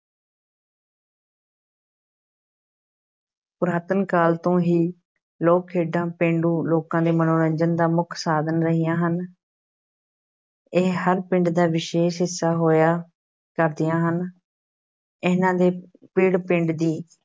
ਪੁਰਾਤਨ ਕਾਲ ਤੋਂ ਹੀ ਲੋਕ-ਖੇਡਾਂ ਪੇਂਡੂ ਲੋਕਾਂ ਦੇ ਮਨੋਰੰਜਨ ਦਾ ਮੁੱਖ ਸਾਧਨ ਰਹੀਆਂ ਹਨ ਇਹ ਹਰ ਪਿੰਡ ਦਾ ਵਿਸ਼ੇਸ਼ ਹਿੱਸਾ ਹੋਇਆ ਕਰਦੀਆਂ ਹਨ, ਇਹਨਾਂ ਦੇ ਪਿੜ ਪਿੰਡ ਦੀ